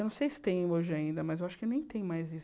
Eu não sei se tem hoje ainda, mas eu acho que nem tem mais isso.